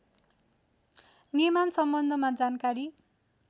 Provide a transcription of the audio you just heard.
निर्माण सम्बन्धमा जानकारी